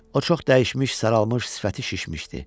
O çox dəyişmiş, saralmış, sifəti şişmişdi.